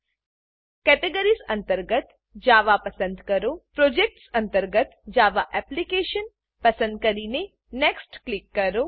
categories categories અંતર્ગત Java Java પસંદ કરો પ્રોજેક્ટ્સ પ્રોજેક્ટ્સ અંતર્ગત જાવા એપ્લિકેશન જાવા એપ્લીકેશન પસંદ કરીને નેક્સ્ટ નેક્સ્ટ ક્લિક કરો